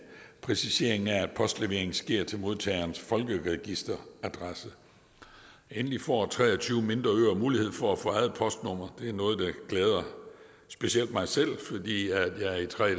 præcisering af at postleveringen sker til modtagerens folkeregisteradresse endelig får tre og tyve mindre øer mulighed for at få eget postnummer det er noget der glæder specielt mig selv fordi jeg i tre